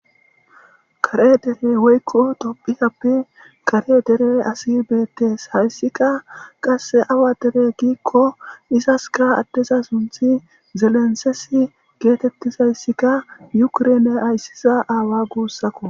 kare dere woykko topitappe kare dere asi beettes hayssika qasse awa dere giikko isaska addeza sunthi zelensesi geetettizayssikka yukurene ayssiza aawa guussakko